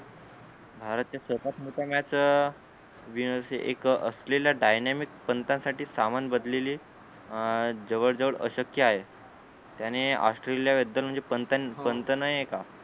भारतच्या सर्वात मोठ्या मॅच अं जे असेल एक असलेल्या dynamic पंता साठी सामान भरलेली अं जवळ जवळ अशक्य आहे त्याने ऑस्ट्रेलिया बद्दल म्हणजे पंत पंत नाही हे का